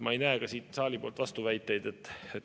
Ma ei näe ka siit saalist vastuväiteid.